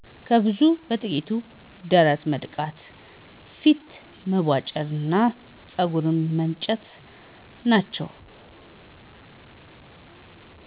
ከብዙዎቹ በጥቂቱ ደረት መድቃት፣ ፊት መቧጨር እና ፀጉር መላጨት ናቸው።